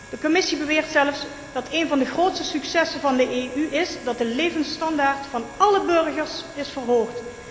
De Commissie beweert zelfs dat een van de grootste successen van de EU is dat de levensstandaard van álle burgers is verhoogd.